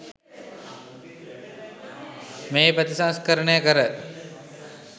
මෙහි ප්‍රතිසංස්කරණය කර